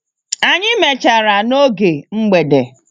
Anyi mechara n'oge mgbede.